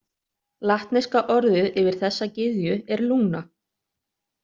Latneska orðið yfir þessa gyðju er Luna.